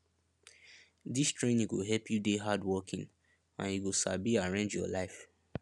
dis training go help you dey hardworking and you go sabi arrange your life